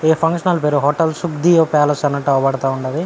ఈ function hall పేరు hotel palace అన్నట్టు అవుపడతా ఉన్నది.